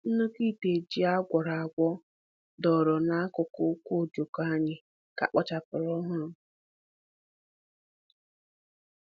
Nnukwu ite ji a gwọrọ agwọ dọrọ n'akụkụ uku ojoko anyị ka kpochapụrụ ọhụrụ.